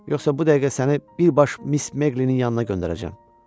Yoxsa bu dəqiqə səni birbaşa Miss Meqlinin yanına göndərəcəm.